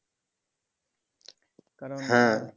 কারণ